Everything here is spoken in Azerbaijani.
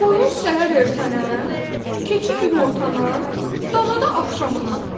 Qoyun səhər ertənə, keçi günortana, dana da axşamına.